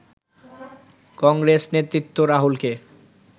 কংগ্রেস নেতৃত্ব রাহুলকে